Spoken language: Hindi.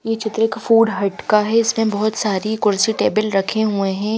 ये चित्र का फूड हट का है इसमें बहुत सारी कुर्सी टेबल रखे हुए हैं--